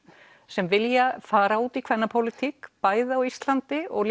sem vilja fara út í bæði á Íslandi og